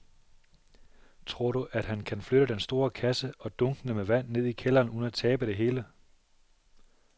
Tror du, at han kan flytte den store kasse og dunkene med vand ned i kælderen uden at tabe det hele?